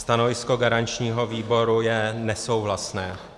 Stanovisko garančního výboru je nesouhlasné.